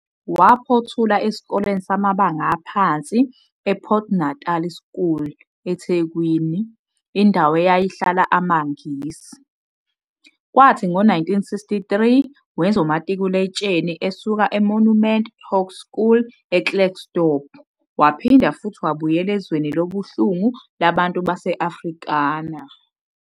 Waphothula esikoleni samabanga aphansi ePort Natal School, eThekwini, indawo eyayihlala amaNgisi, kwathi ngo-1963 wenza umatikuletsheni esuka eMonument Hoerskool eKrugersdorp waphinda futhi wabuyela ezweni lobuhlungu labantu base-Afrikaner.